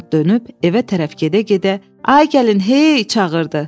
Arvad dönüb evə tərəf gedə-gedə: Ay gəlin hey! çağırdı.